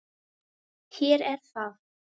Hér er það.